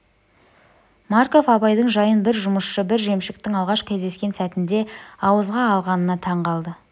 марков абайдың жайын бір жұмысшы бір жемшіктің алғаш кездескен сәтінде ауызға алғанына таң қалды